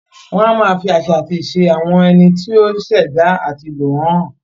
Wọn a máa fi àṣà àti ìṣe àwọn ẹni tí o ṣ'èdá ati lò wọ́n hàn.